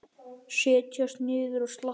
Setjast niður og slappa af.